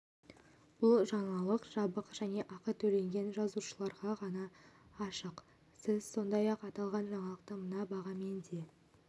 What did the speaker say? бұл жаңалық жабық және ақы төлеген жазылушыларға ғана ашық сіз сондай-ақ аталған жаңалықты мына бағамен де